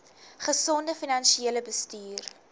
gesonde finansiële bestuur